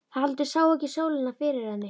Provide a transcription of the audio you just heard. Haraldur sá ekki sólina fyrir henni.